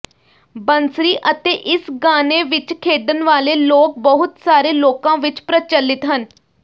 ਬੰਸਰੀ ਅਤੇ ਇਸ ਗਾਣੇ ਵਿਚ ਖੇਡਣ ਵਾਲੇ ਲੋਕ ਬਹੁਤ ਸਾਰੇ ਲੋਕਾਂ ਵਿਚ ਪ੍ਰਚਲਿਤ ਹਨ